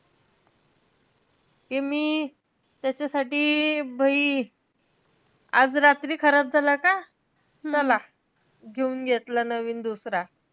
ते मी त्याच्यासाठी आज रात्री खराब झाला का? चला घेऊन घेतला नवीन दुसरा.